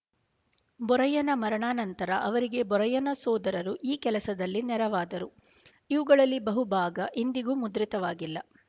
ಬೊರಯ್ಯನ ಮರಣಾನಂತರ ಅವರಿಗೆ ಬೊರಯ್ಯನ ಸೋದರರು ಈ ಕೆಲಸದಲ್ಲಿ ನೆರವಾದರು ಇವುಗಳಲ್ಲಿ ಬಹುಭಾಗ ಇಂದಿಗೂ ಮುದ್ರಿತವಾಗಿಲ್ಲ